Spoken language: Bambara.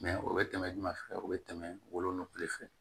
Mɛ o bɛ tɛmɛ juman fɛ o bɛ tɛmɛ wolonugu de fɛ